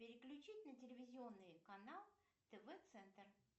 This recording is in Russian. переключить на телевизионный канал тв центр